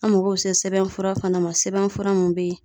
An mago bɛ se sɛbɛn fura fana ma, sɛbɛn fura mun bɛ yen.